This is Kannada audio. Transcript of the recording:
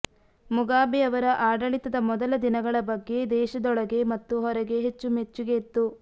ಮುಗಾಬೆ ಅವರ ಆಡಳಿತದ ಮೊದಲ ದಿನಗಳ ಬಗ್ಗೆ ದೇಶದೊಳಗೆ ಮತ್ತು ಹೊರಗೆ ಮೆಚ್ಚುಗೆ ಇತ್ತು